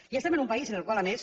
i estem en un país en el qual a més